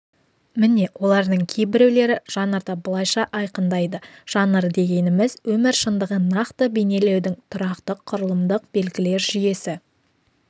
міне олардың кейбіреулері жанрды былайша айқындайды жанр дегеніміз өмір шындығын нақты бейнелеудің тұрақты құрылымдық белгілер жүйесі